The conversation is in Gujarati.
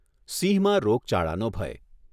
સિંહમાં રોગચાળાનો ભય